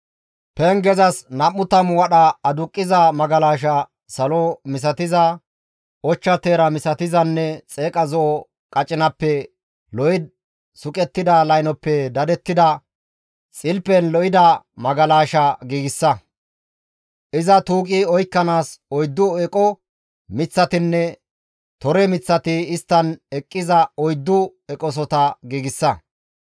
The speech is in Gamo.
«Pengezas nam7u tammu wadha aduqqiza magalasha salo misatiza, ochcha teera misatizanne xeeqa zo7o qacinappenne lo7i suqettida laynoppe dadettida, xilpen lo7ida magalasha giigsa. Iza tuuqi oykkanaas oyddu eqo miththatinne tore miththati isttan eqqiza oyddu eqosota giigsa.